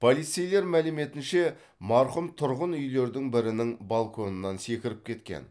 полицейлер мәліметінше марқұм тұрғын үйлердің бірінің балконынан секіріп кеткен